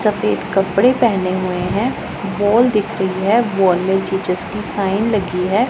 सफेद कपड़े पहने हुए हैं वॉल दिख रही है वॉल में जीजस की साइन लगी है।